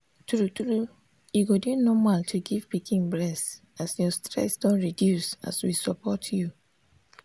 true true e go dey normal to give pikin breast as your stress don reduce as we support you.